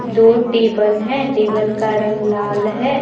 दो टेबल है टेबल का रंग लाल है।